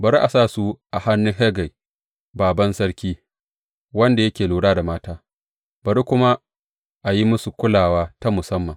Bari a sa su a hannun Hegai, bābān sarki, wanda yake lura da mata, bari kuma a yi musu kulawa ta musamman.